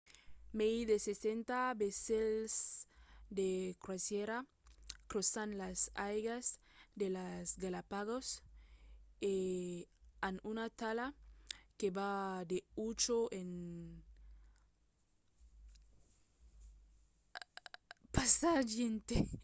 mai de 60 vaissèls de crosièra crosan las aigas de las galápagos - e an una talha que va de 8 a 100 passatgièrs